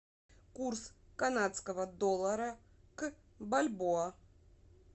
курс канадского доллара к бальбоа